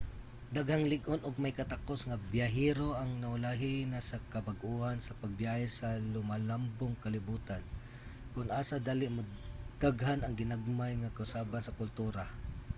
daghang lig-on og may katakus nga biyahero ang naulahi na sa kabag-uhan sa pagbiyahe sa lumalambong kalibotan kon asa dali modaghan ang ginagmay nga kausaban sa kultura